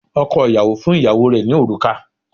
Ọkọ̀ ìyàwó fún ìyàwó rẹ̀ ní òrùka